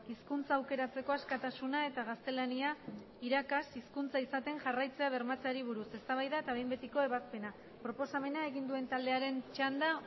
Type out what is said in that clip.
hizkuntza aukeratzeko askatasuna eta gaztelania irakas hizkuntza izaten jarraitzea bermatzeari buruz eztabaida eta behin betiko ebazpena proposamena egin duen taldearen txanda